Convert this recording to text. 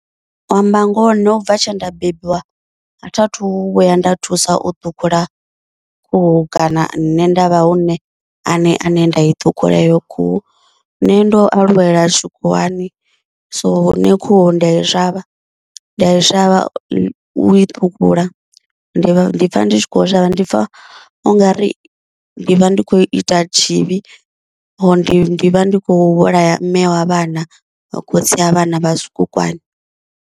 U amba ngoho nṋe ubva tshe nda bebiwa a tha thu vhuya nda thusa u ṱhukhula khuhu kana nṋe nda vha hu nṋe aṋe aṋe nda i ṱhukhula heyo khuhu, nṋe ndo aluwela tshikhuwani so nṋe khuhu ndi a i shavha, ndi a i shavha u i ṱhukhula, ndi vha ndi pfha ndi tshi kho shavha ndipfa ungari ndi vha ndi khou ita tshivhi, ndi ndi vha ndi khou vhulaya mme wa vhana na khotsi wa vhana vha zwikukwana.